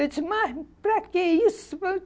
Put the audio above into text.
Eu disse, mas para que isso?